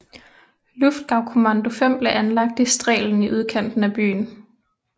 Luftgaukommando IV blev anlagt i Strehlen i udkanten af byen